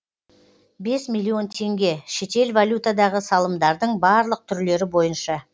бес миллион теңге шетел валютадағы салымдардың барлық түрлері бойынша